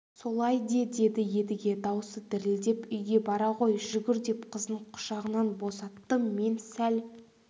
солай де деді едіге даусы дірілдеп үйге бара ғой жүгір деп қызын құшағынан босатты мен сәл